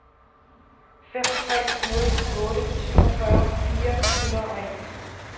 fem tre nul otte syvogfyrre fire hundrede og en